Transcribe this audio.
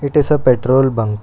It is a petrol bunk.